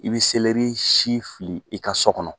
I bɛ si fili i ka so kɔnɔ.